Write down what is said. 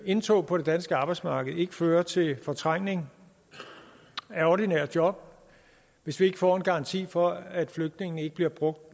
indtog på det danske arbejdsmarked ikke fører til fortrængning af ordinære job hvis vi ikke får en garanti for at flygtningen ikke bliver